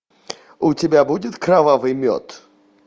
у тебя будет кровавый мед